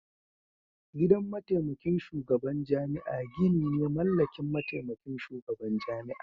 Gidan mataimakin shugaban jami'a gini ne mallakin mataimakin shugaban jami'a.